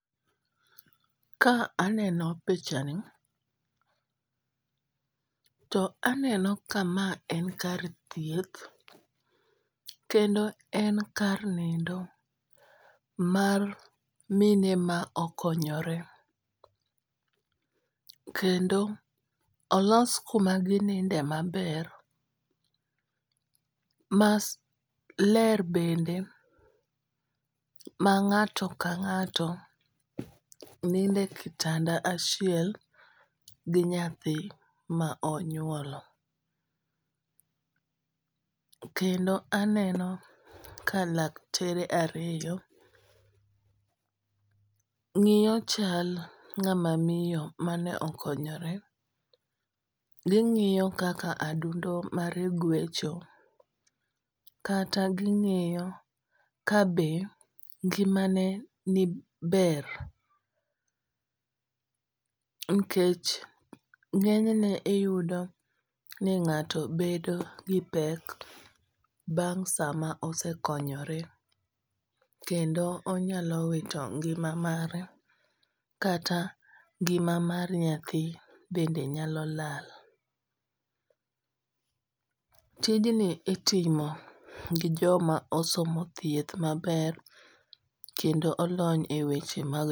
Ka aneno pichani to aneno ka ma en kar thieth kendo en kar nindo mar mine ma okonyore. Kendo olos kuma gininde maber ma ler bende ma ng'ato ka ng'ato ninde e kitanda achiel gi nyathi ma onyuolo. Kendo aneno ka laktere ariyo ng'iyo chal ng'ama miyo mane okonyore. Ging'iyo kaka adundo mare gwecho. Kata ging'iyo kabe ngima ne ber. Nikech ng'enyne iyudo ni ng'ato bedo gi pek bang' sama osekonyore kendo onyalo wito ngima mare kata ngima mar nyathi bende nyalo lal. Tijini itimo gi joma osomo thieth maber kendo olony e weche mag